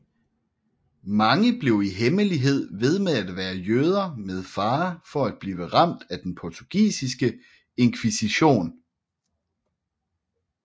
Mange blev i hemmelighed ved med at være jøder med fare for at blive ramt af den portugisiske inkvisition